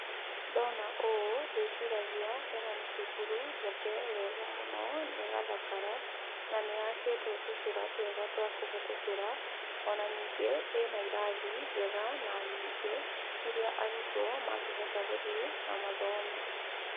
Ndona ũũ, ndĩciragia ĩno nĩ cukuru njake wega mũno, na ĩgathakara, na nĩyakĩtwo tũcĩra twega twa kũhetũkĩra. Ona ningĩ ĩna irathi njega na nyingĩ iria arutwo mangihota gũthiĩ na mathome.